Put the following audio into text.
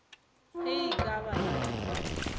ge e ka ba ye